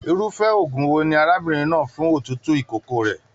Irufẹ òògùn wò ní arábìnrin náà fún òtútù ìkókó rẹ?